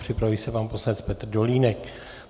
Připraví se pan poslanec Petr Dolínek.